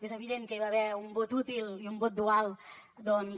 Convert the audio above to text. és evident que hi va haver un vot útil i un vot dual doncs